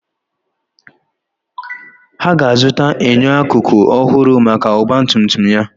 Ha ga-azụta enyo akụkụ ọhụrụ maka ọgba tum tum ya.